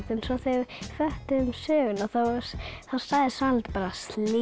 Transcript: svo þegar við föttuðum söguna þá sagði Svanhildur bara slím